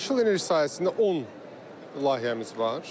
Yaşıl enerji sayəsində 10 layihəmiz var.